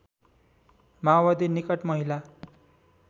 माओवादी निकट महिला